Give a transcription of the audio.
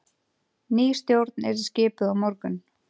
Ný stjórn yrði skipuð á morgun